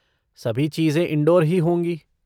सभी चीज़ें इनडोर ही होंगी।